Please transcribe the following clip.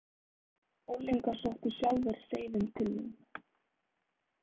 Unglingar sóttu sjálfir seiðin til mín.